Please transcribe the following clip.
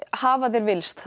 hafa þeir villst